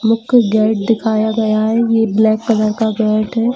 मुख्य गेट दिखाया गया है यह ब्लैक कलर का गेट है।